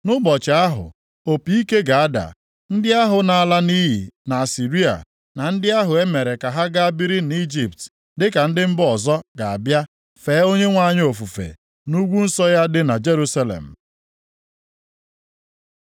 Nʼụbọchị ahụ, opi ike ga-ada. Ndị ahụ na-ala nʼiyi nʼAsịrịa na ndị ahụ e mere ka ha gaa biri nʼIjipt dịka ndị mba ọzọ ga-abịa fee Onyenwe anyị ofufe nʼugwu nsọ ya dị na Jerusalem.